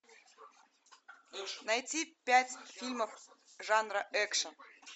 найти пять фильмов жанра экшн